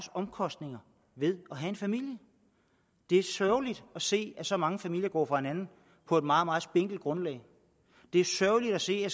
omkostninger ved at have en familie det er sørgeligt at se at så mange familier går fra hinanden på et meget meget spinkelt grundlag det er sørgeligt at se at